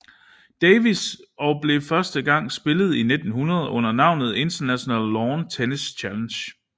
Davis og blev første gang spillet i 1900 under navnet International Lawn Tennis Challenge